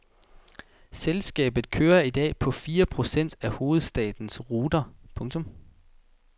Selskabet kører i dag på fire procent af hovedstadens ruter. punktum